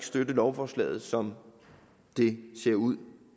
støtte lovforslaget som det ser ud